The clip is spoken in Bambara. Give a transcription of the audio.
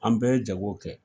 An bɛɛ ye jago kɛ.